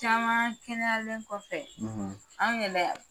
Caman kɛnɛyalen kɔfɛ, , an yɛrɛ